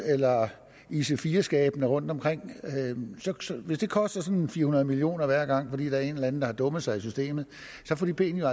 eller ic4 skabene rundtomkring hvis det koster sådan fire hundrede million kroner hver gang fordi der er en eller anden der har dummet sig i systemet så får de penge